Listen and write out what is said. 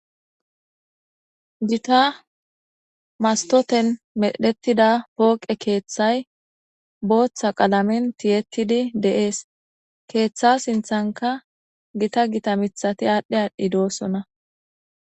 jita mastoten medhetida pooqe keeththay booththa qalamen tiyettidi deees. keeththa sinththanka gita gita mithati aadhdhe aadhdhi doossona.